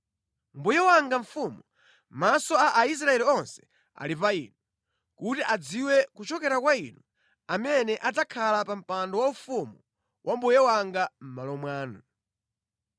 Mbuye wanga mfumu, maso a Aisraeli onse ali pa inu, kuti adziwe kuchokera kwa inu amene adzakhala pa mpando waufumu wa mbuye wanga mʼmalo mwanu.